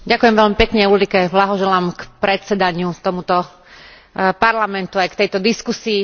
Ďakujem veľmi pekne Ulrike, blahoželám k predsedaniu tomuto Parlamentu, aj k tejto diskusii.